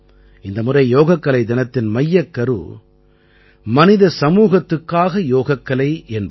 இந்த முறை யோகக்கலை தினத்தின் மையக்கரு மனித சமூகத்துக்காக யோகக்கலை என்பதே